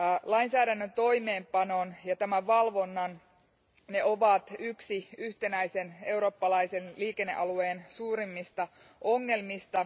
Lainsäädännön toimeenpano ja sen valvonta ovat yksi yhtenäisen eurooppalaisen liikennealueen suurimmista ongelmista.